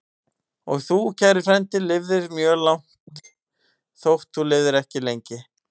Og þú, kæri frændi, lifðir mjög langt, þótt þú lifðir ekki lengi.